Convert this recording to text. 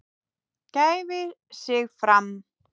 gæfi sig fram.